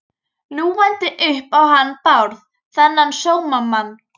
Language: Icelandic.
Ljúgandi upp á hann Bárð, þennan sómamann.